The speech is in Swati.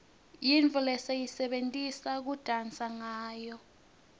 yintfo lesiyisebentisa kudansa ngawo